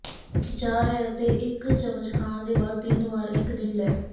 ਖਿਚਾਅ ਹੈ ਅਤੇ ਇੱਕ ਚਮਚ ਖਾਣ ਦੇ ਬਾਅਦ ਤਿੰਨ ਵਾਰ ਇੱਕ ਦਿਨ ਲੈ